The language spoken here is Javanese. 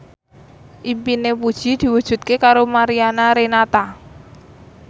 impine Puji diwujudke karo Mariana Renata